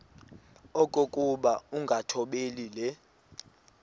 okokuba ukungathobeli le